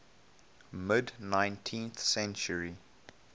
mid nineteenth century